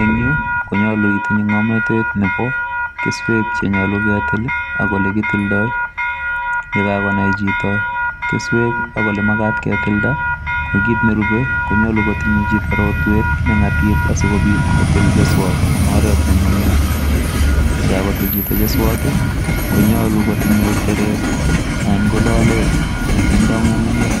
Eng yu konyolu itinye ng'omnatet nebo keswek Chenyolu ketil ak olekitildoi. Yekakonai chito keswek ak olemakat ketilda, ko kit nerube konyalu kotinye chito rotwet neng'atip asikopit kotil keswot eng oret nenyumnyum. Yekakotil chito keswot, konyolu kotinye teret anan ko lolet nekindo ng'ung'unyek.